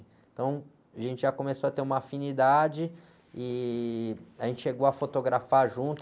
Então, a gente já começou a ter uma afinidade e a gente chegou a fotografar junto.